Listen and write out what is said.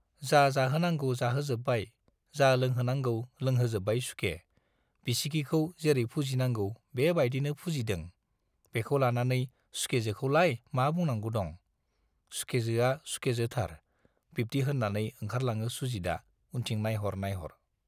जा जाहोनांगौ जाहोजोब्बाय, जा लोंहोनांगौ लोंहोजोब्बाय सुखे, बिसिगिखौ जेरै फुजिनांगौ बे बाइदिनो फुजिदों- बेखौ लानानै सुखेजोखौलाय मा बुंनांगौ दं? सुखेजोआ सुखेजोथार, - बिब्दि होन्नानै ओंखारलाङो सुजितआ उनथिं नाइहर नाइहर।